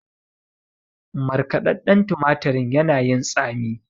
Markɗaɗɗan tumatirin yana yin tsami.